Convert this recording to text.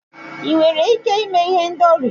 ị nwere ike ime ihendori?